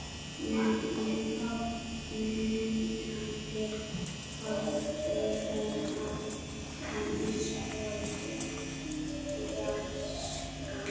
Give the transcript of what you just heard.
Undrandi horfði hún á hann eins og úr fjarska.